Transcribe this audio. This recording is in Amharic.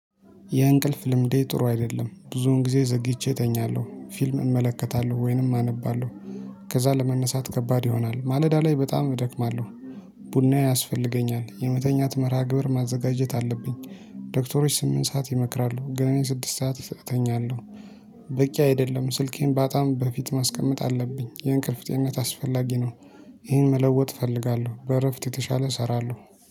የእንቅልፍ ልምዴ ጥሩ አይደለም። ብዙውን ጊዜ ዘግይቼ እተኛለሁ ፊልም እመለከታለሁ ወይንም አነባለሁ። ከዛ ለመነሳት ከባድ ይሆናል። ማለዳ ላይ በጣም እደክማለሁ። ቡናዬ ያስፈልገኛል። የመተኛት መርሃ ግብር ማዘጋጀት አለብኝ። ዶክተሮች ስምንት ሰዓት ይመክራሉ። ግን እኔ ስድስት ሰዓት እተኛለሁ በቂ አይደለም። ስልኬን በጣም በፊት ማስቀመጥ አለብኝ የእንቅልፍ ጤንነት አስፈላጊ ነው። ይህን መለወጥ እፈልጋለሁ። በእረፍት የተሻለ እሰራለሁ።